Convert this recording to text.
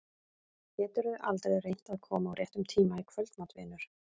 Geturðu aldrei reynt að koma á réttum tíma í kvöldmat, vinur?